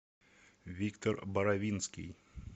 виктор боровинский